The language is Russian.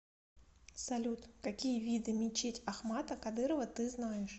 салют какие виды мечеть ахмата кадырова ты знаешь